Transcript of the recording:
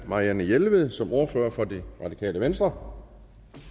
marianne jelved som ordfører for det radikale venstre